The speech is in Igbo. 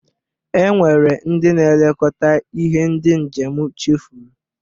E nwere ndị na-elekota ihe ndị njem chefuru.